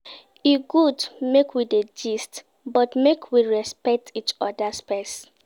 E good make we dey gist, but make we respect each oda space.